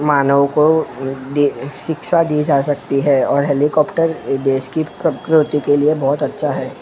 मानव को दे शिक्षा दी जा सकती है और हेलीकॉप्टर देश की प्रकृति के लिए बहुत अच्छा है।